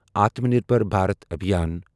Atmanirbhar Bharat Abhiyan